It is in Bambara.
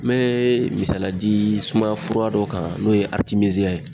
N mee misaliya di sumaya fura dɔ kan n'o ye aritimeziya ye